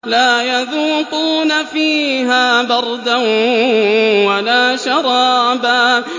لَّا يَذُوقُونَ فِيهَا بَرْدًا وَلَا شَرَابًا